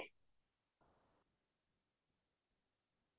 হয় হয় ফুৰিব গৈছো মই